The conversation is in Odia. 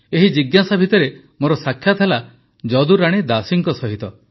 ଏହି ଜିଜ୍ଞାସା ଭିତରେ ମୋର ସାକ୍ଷାତ ହେଲା ଯଦୁରାଣୀ ଦାସୀଙ୍କ ସହିତ